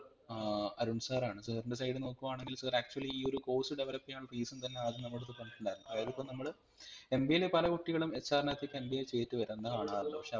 ഏർ Arun sir ആണ് sir ൻറെ side ന്ന് നോക്കുവാണെങ്കിൽ siractually ഈ ഒരു course develop ചെയ്യാനുള്ള reason തന്നെ ആദ്യം നമ്മടെടുത് പറഞ്ഞിട്ടുണ്ടായിരുന്നു അതായത് ഇപ്പം നമ്മൾ MBA ല് പല കുട്ടികളും HR നകത്തേക്ക് MBA ചെയ്തിട്ട് വരുന്ന കാണാറുണ്ട് പക്ഷെ